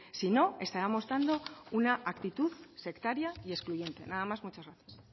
sino estará mostrando una actitud sectorial y excluyente nada más y muchas gracias